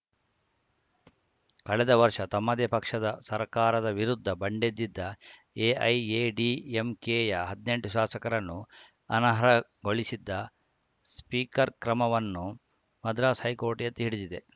ಕಳೆದ ವರ್ಷ ತಮ್ಮದೇ ಪಕ್ಷದ ಸರ್ಕಾರದ ವಿರುದ್ಧ ಬಂಡೆದಿದ್ದ ಎಐಎಡಿಎಂಕೆಯ ಹದ್ನೆಂಟು ಶಾಸಕರನ್ನು ಅನರ್ಹಗೊಳಿಸಿದ್ದ ಸ್ಪೀಕರ್‌ ಕ್ರಮವನ್ನು ಮದ್ರಾಸ್‌ ಹೈಕೋರ್ಟ್‌ ಎತ್ತಿ ಹಿಡಿದಿದೆ